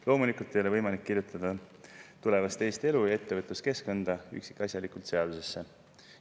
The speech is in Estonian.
"Loomulikult ei ole võimalik kirjutada tulevast Eesti elu ja ettevõtluskeskkonda üksikasjalikult seadusesse.